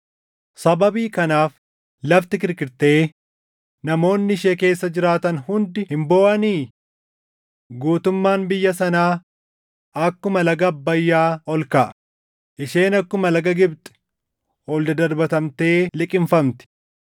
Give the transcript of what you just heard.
“Sababii kanaaf lafti kirkirtee namoonni ishee keessa jiraatan hundi hin booʼanii? Guutummaan biyya sanaa akkuma laga Abbayyaa ol kaʼa; isheen akkuma laga Gibxi ol dadarbatamtee liqimfamti.”